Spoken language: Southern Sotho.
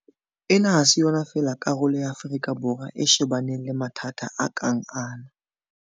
Ena ha se yona fela karolo ya Afrika Borwa e shebaneng le mathata a kang ana.